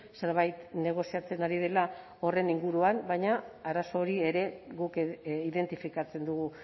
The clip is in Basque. zerbait negoziatzen ari dela horren inguruan baina arazo hori ere guk identifikatzen dugu